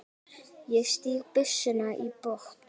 Ég stíg byssuna í botn.